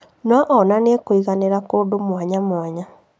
No on onanie kũiganĩra kũndũ mwanya mwanya